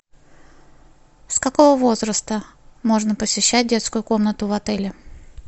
с какого возраста можно посещать детскую комнату в отеле